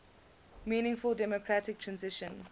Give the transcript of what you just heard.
meaningful democratic transition